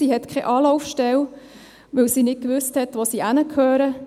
Sie hatte keine Anlaufstelle, weil sie nicht wusste, wohin sie gehört.